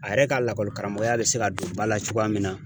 A yɛrɛ ka lakɔli karamɔgɔya bɛ se ka don ba la cogoya min na.